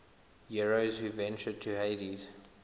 heroes who ventured to hades